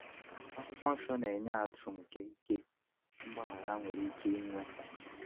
Akwụkwọ Nsọ na-enye ihe atụ nke ike mgbaghara nwere ike inwe.